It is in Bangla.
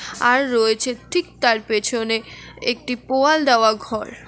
আর রয়েছে ঠিক তার পেছনে একটি পোয়াল দেওয়া ঘর।